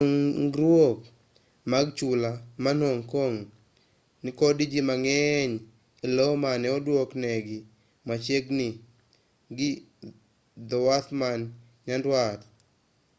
ng'eny dongruok mag chula man hong kong nikod jii mang'eny e lo mane oduok negi machiegini gi dhowath man nyandwat